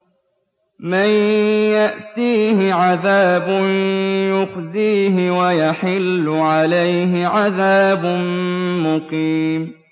مَن يَأْتِيهِ عَذَابٌ يُخْزِيهِ وَيَحِلُّ عَلَيْهِ عَذَابٌ مُّقِيمٌ